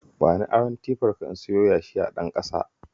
Bani aron tifarka in siyo yashi a Ɗanƙasa